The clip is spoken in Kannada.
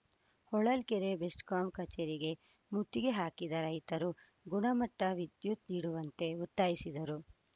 ಹೊಳಲ್ಕೆರೆ ಬೆಸ್ಕಾಂ ಕಚೇರಿಗೆ ಮುತ್ತಿಗೆ ಹಾಕಿದ ರೈತರು ಗುಣಮಟ್ಟ ವಿದ್ಯುತ್‌ ನೀಡುವಂತೆ ಒತ್ತಾಯಿಸಿದರು